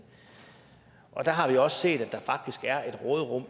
der har vi også set at der faktisk er et råderum